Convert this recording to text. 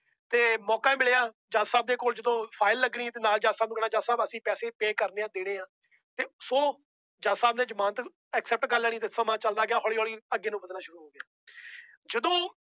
ਤੇ ਮੌਕਾ ਮਿਲਿਆ ਜੱਜ ਸਾਹਿਬ ਦੇ ਕੋਲ ਜਦੋਂ file ਲੱਗਣੀ ਤੇ ਨਾਲ ਜੱਜ ਸਾਹਿਬ ਨੂੰ ਕਹਿਣਾ ਜੱਜ ਸਾਹਿਬ ਅਸੀਂ ਪੈਸੇ pay ਕਰਨੇ ਹੈ ਦੇਣੇ ਆਂ, ਤੇ ਸੌ ਜੱਜ ਸਾਹਿਬ ਨੇ ਜਮਾਨਤ accept ਕਰ ਲੈਣੀ ਤੇ ਸਮਾਂ ਚੱਲਦਾ ਗਿਆ ਹੌਲੀ ਹੌਲੀ ਅੱਗੇ ਨੂੰ ਵੱਧਣਾ ਸ਼ੁਰੂ ਹੋ ਗਿਆ ਜਦੋਂ